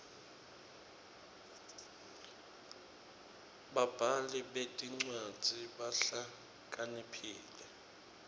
babhali betincwadzi bahlakaniphile